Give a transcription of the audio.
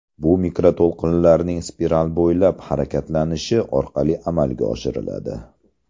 Bu mikroto‘lqinlarning spiral bo‘ylab harakatlanishi orqali amalga oshiriladi.